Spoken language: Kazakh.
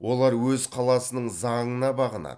олар өз қаласының заңына бағынады